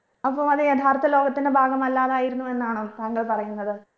അപ്പൊ അത് യഥാർത്ഥ ലോകത്തിന്റെ ഭാഗമല്ലാതായിരുന്നോ എന്നാണോ താങ്കൾ പറയുന്നത്